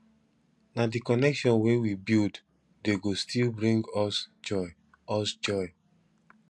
na di connection wey we build dey go still bring us joy us joy